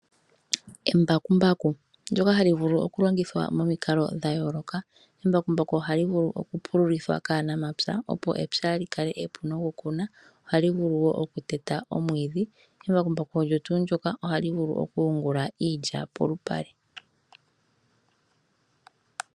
Embakumbaku ndyoka hali vulu okulongithwa momikalo dha yooloka. Embakumbaku ohali vulu okupululithwa kaanamapya, opo epya li kale epu nokukunwa, ohali vulu okuteta omwiidhi, embakumbaku olyo tuu ndyoka ohali vulu okuyungula iilya polupale.